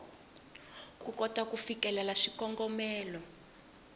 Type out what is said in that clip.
ku kota ku fikelela swikongomelo